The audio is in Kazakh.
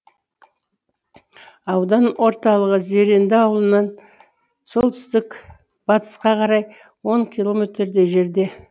аудан орталығы зеренді ауылынан солтүстік батысқа қарай он километрдей жерде